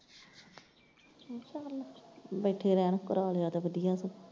ਬੈਠੇ ਰਹਿਣ ਕਰਾਇਆ ਲਿਆ ਤੇ ਵਧੀਆ ਸੋ।